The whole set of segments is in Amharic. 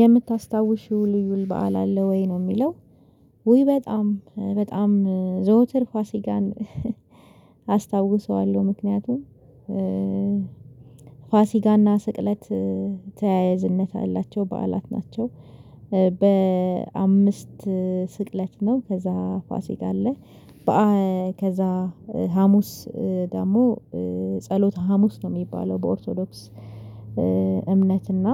የምታስታውሺው ልዩ በዓል አለ ወይ? ነው የሚለው ውይ በጣም በጣም ዘውትር ፋሲካን አስታውሰዋለሁ። ምክንያቱም ፋሲካና ስቅለት ተያያዝነት አላቸው በዓላት ናቸው። በአምስት ስቅለት ነው ከዛ ፋሲክ አለ። ከዛ ሀሙስ ደግሞ ጸሎተ ሀሙስ ነው የሚባለው። በኦርቶዶክስ እምነት እና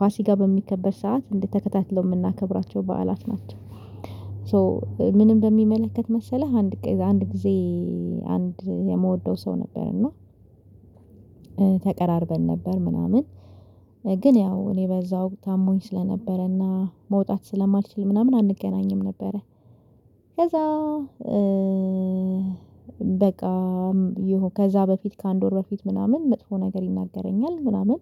ፋሲካ በሚከበር ሰዓት እንዴት ተከታትለው የምናከብራቸው በዓላት ናቸው። ሶ ምንም በሚመለከት መሰለህ አንድ አንድ ጊዜ አንድ የምወደው ሰው ነበር እና ተቀራርበን ነበር ምናምን ግን ያው እኔ በዛ ወቅት አሞኝ ስለነበረና መውጣት ስለማልችል ምናምን አንገናኝም ነበረ። ከዛ በቃ ይሁን ከዛ በፊት ከአንድ ወር በፊት ምናምን መጥፎ ነገር ይናገረኛል ምናምን።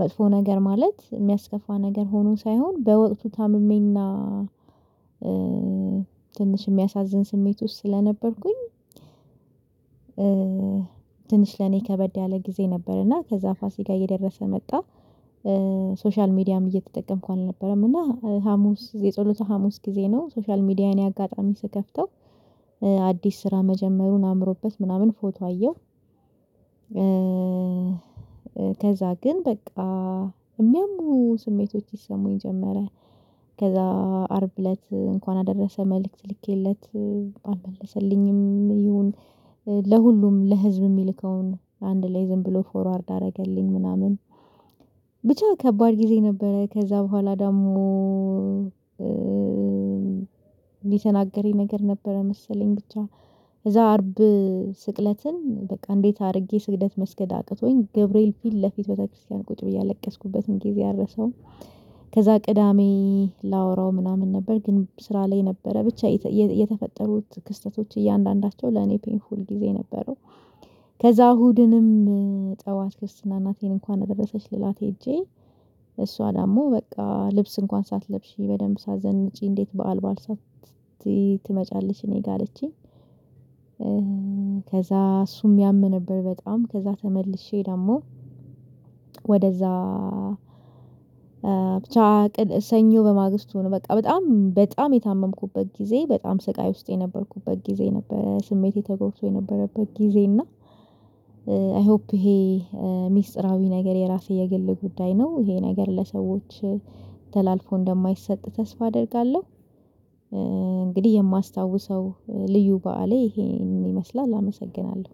መጥፎ ነገር ማለት የሚያስከፋ ነገር ሆኖ ሳይሆን በወቅቱ ታምሜና ትንሽ የሚያሳዝን ስሜት ውስጥ ስለነበርኩኝ። ትንሽ ለኔ ከበድ ያለ ጊዜ ነበር እና ከዛ ፋሲካ የደረሰ መጣ። ሶሻል ሚዲያም እየተጠቀምኩ አልነበረም እና ሀሙስ የጸሎተ ሀሙስ ጊዜ ነው ሶሻል ሚዲያን አጋጣሚ ስከፍተው አዲስ ስራ መጀመሩን አምሮበት ምናምን ፎቶ አየው። ከዛ ግን በቃ የሚያሙ ስሜቶች ይሰሙኝ ጀመረ። ከዛ አርብ እለት እንኳን አደረሰህ መልእክት ልኬለት አልመለሰልኝም ይሁን ለሁሉም ለህዝብ የሚልከውን አንድ ላይ ዝም ብሎ ፎርዋርድ አደረገልኝ ምናምን። ብቻ ከባድ ጊዜ ነበረ። ከዛ በኋላ ደግሞ እንዲህ ተናገረኝ ነገር ነበረ መሰለኝ ብቻ። እዛ አርብ ስቅለትን በቃ እንዴት አድርጌ ስግደት መስገድ አቅቶኝ ገብርኤል ፊት ለፊት ቤተ ክርስቲያን ቁጭ ብዬ ያለቀስኩበትም ጊዜ አልረሳውም። ከዛ ቅዳሜ ላወራው ምናምን ነበር ግን ስራ ላይ ነበረ። ብቻ የተፈጠሩት ክስተቶች እያንዳንዳቸው ለኔ ፔይንፉል ጊዜ የነበረው። ከዛ እሁድንም ጠዋት ክርስትና እናቴን እንኳን እንደበሰች ልላት ሄጄ እሷ ደግሞ በቃ ልብስ እንኳን ሳትለብሺ በደንብ ሳዘንጪ እንዴት በዓል ትመጫለች እኔ ጋር አለችኝ። ከዛ እሱም ያም ነበር በጣም ከዛ ተመልሼ ደግሞ ወደዛ ብቻ ሰኞ በማግስቱ ነው በቃ በጣም በጣም የታመምኩበት ጊዜ በጣም ስቃይ ውስጥ የነበርኩበት ጊዜ ነበር። ስሜቴ ተጎብቶ የነበረበት ጊዜ እና። አይ ሆፕ ይሄ ሚስጥራዊ ነገር የራሴ የግል ጉዳይ ነው። ይሄ ነገር ለሰዎች ተላልፎ እንደማይሰጥ ተስፋ አደርጋለሁ። እንግዲህ የማስታውሰው ልዩ በዓሌ ይሄንን ይመስላል አመሰግናለሁ።